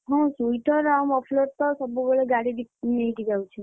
ହଁ sweater ଆଉ muffler ତ ଗାଡି ଡିକିରେ ନେଇକି ଯାଉଛି।